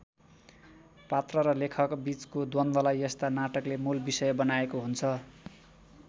पात्र र लेखकबीचको द्वन्द्वलाई यस्ता नाटकले मूल विषय बनाएको हुन्छ।